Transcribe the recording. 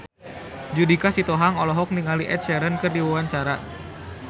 Judika Sitohang olohok ningali Ed Sheeran keur diwawancara